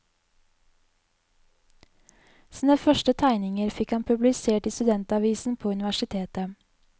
Sine første tegninger fikk han publisert i studentavisen på universitetet.